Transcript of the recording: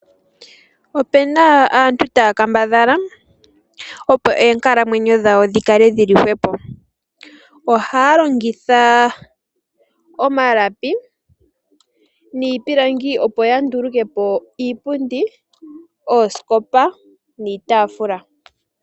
Opena aantu taya kambadhala opo oonkalamwenyo dhawo dhikale dhili hwepo. Ohaya longitha omalapi niipilangi opo ya ndulukepo iipundi, oosikopa niitaafula.